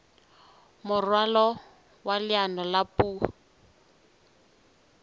moralo wa leano la puo